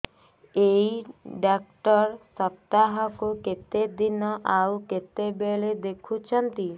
ଏଇ ଡ଼ାକ୍ତର ସପ୍ତାହକୁ କେତେଦିନ ଆଉ କେତେବେଳେ ଦେଖୁଛନ୍ତି